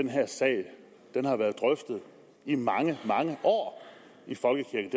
den her sag har været drøftet i mange mange år i folkekirken